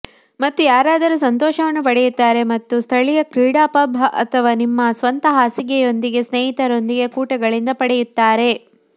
ಮತ್ತು ಯಾರಾದರೂ ಸಂತೋಷವನ್ನು ಪಡೆಯುತ್ತಾರೆ ಮತ್ತು ಸ್ಥಳೀಯ ಕ್ರೀಡಾ ಪಬ್ ಅಥವಾ ನಿಮ್ಮ ಸ್ವಂತ ಹಾಸಿಗೆಯೊಂದಿಗೆ ಸ್ನೇಹಿತರೊಂದಿಗೆ ಕೂಟಗಳಿಂದ ಪಡೆಯುತ್ತಾರೆ